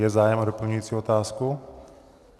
Je zájem o doplňující otázku?